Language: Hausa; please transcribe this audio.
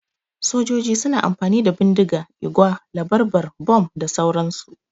Sojoji suna amfani da bindiga, igwa, labarbar, bom da sauran su